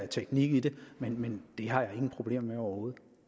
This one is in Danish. teknik i det men har jeg ingen problemer med overhovedet